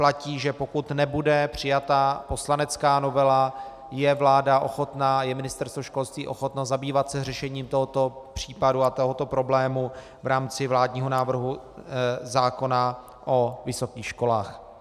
Platí, že pokud nebude přijata poslanecká novela, je vláda ochotna, je Ministerstvo školství ochotno zabývat se řešením tohoto případu a tohoto problému v rámci vládního návrhu zákona o vysokých školách.